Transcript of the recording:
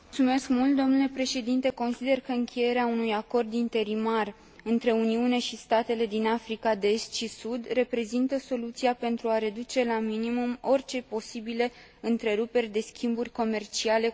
Consider că încheierea unui acord interimar între Uniune și statele din Africa de Est și Sud reprezintă soluția pentru a reduce la minimum orice posibile întreruperi de schimburi comerciale cu acești parteneri.